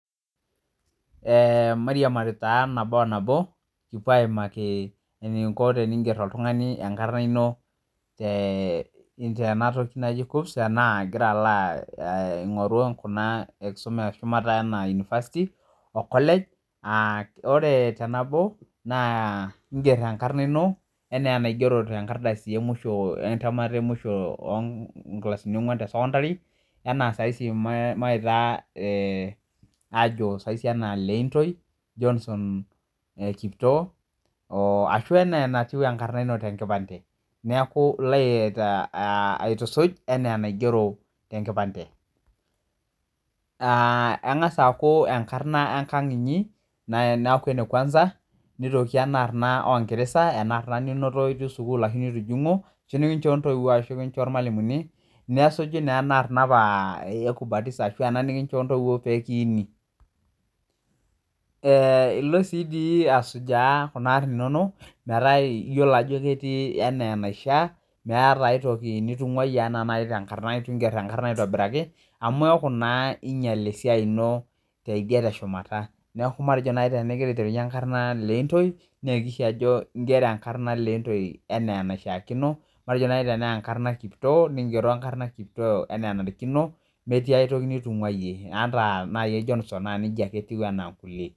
Eee mairiamari taa nabo onabo, kipuo aimaki eneiko teiinger oltungani enkarna ino tena toki naju KUCCPS anaa igira alo aing'oru kunaa enkisuma eshumata unifasiti okolej, ore te nabo, naa inger enkarna ino, enaaa enaigero te nkardasi emusho entamata emusho onkilasini ongwan te sekondari, ana saisi maitaa aajo saisi anaa Leintoi Johnson kiptoo,o ashu enaa enatiu enkarna ino te nkipande. Neaku ilo aitusuj enaa enaigero te nkipande. Engas aaku enkarna enkang' inyi naaku ne kwansa, neitoki ana arna oongiresa, ana arna ninoto itii sukuul ashu nitujung'o ashu nikinchoo ntoiwo ashu nikinchoo ilmwalimuni, nesuji naa arna apa ekubatisha ena nikinchoo ntoiwo pekiini. Ilo sii dii asujaa kuna arin inono metaa iyolo ajo ketii ena enaishaa, meata aitoki nitung'aiye ana nai te inkarna eitu ingerr enkarna aitobiraki, amu iaku naa inyal esiai ino tedie te shumata, naaku matejo nai teneaku tenikilidunye enkarna Leintoi naa akishi ajo ingerro enkarna Leintoi enaa eneishaakino, matejo nai tenaa enkarna Kiptoo ningero enkarna Kiptoo anaa enadechi ino, emetii aitoki nitung'aiye, ata nai ejo nusa naaku neja etiu enaa nena inkule.